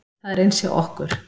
Það er eins hjá okkur.